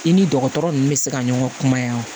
I ni dɔgɔtɔrɔ ninnu bɛ se ka ɲɔgɔn faamuya wa